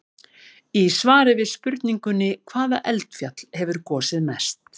Í svari við spurningunni: Hvaða eldfjall hefur gosið mest?